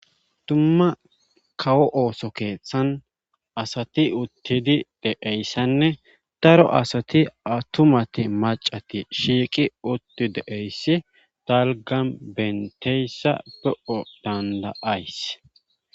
tumma kawo ooso keeththan asati uttidi deeyssanne daro asati atumati macati shiiqi utti deeyssi talgan benteyssa be7o danda7ays